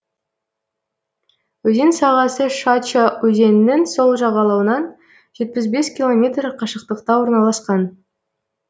өзен сағасы шача өзенінің сол жағалауынан жетпіс бес километр қашықтықта орналасқан